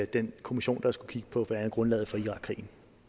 den kommission der skulle kigge på blandt andet grundlaget for irakkrigen